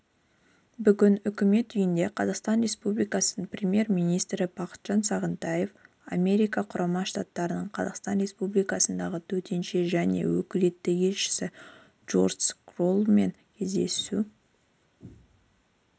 бүгін үкімет үйінде қазақстан республикасының премьер-министрі бақытжан сағынтаев америка құрама штаттарының қазақстан республикасындағы төтенше және өкілетті елшісі джордж кроллмен кездесу